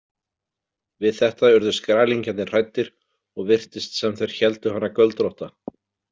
Við þetta urðu skrælingjarnir hræddir og virtist sem þeir héldu hana göldrótta.